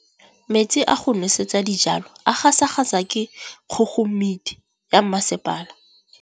Metsi a go nosetsa dijalo a gasa gasa ke kgogomedi ya masepala.